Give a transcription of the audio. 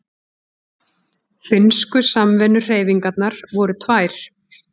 Finnsku samvinnuhreyfingarnar voru tvær.